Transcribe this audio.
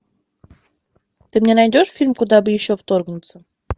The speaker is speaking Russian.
ты мне найдешь фильм куда бы еще вторгнуться